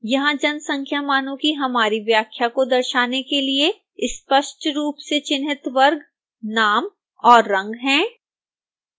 यहां जनसंख्या मानों की हमारी व्याख्या को दर्शाने के लिए स्पष्ट रूप से चिह्नित वर्ग नाम और रंग हैं